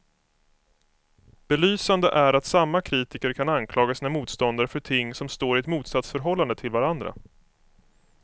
Belysande är att samma kritiker kan anklaga sina motståndare för ting som står i ett motsatsförhållande till varandra.